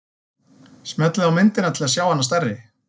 Smellið á myndina til þess að sjá hana stærri.